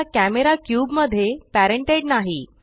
आता camera cube मध्ये parented नाही